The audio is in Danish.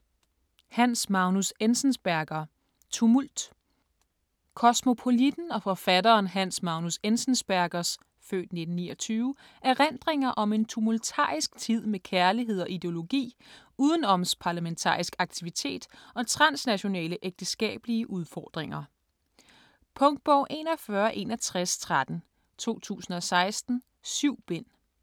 Enzensberger, Hans Magnus: Tumult Kosmopolitten og forfatteren Hans Magnus Enzensbergers (f. 1929) erindringer om en tumultarisk tid med kærlighed og ideologi, udenomsparlamentarisk aktivitet og transnationale ægteskabelige udfordringer. Punktbog 416113 2016. 7 bind.